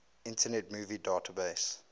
internet movie database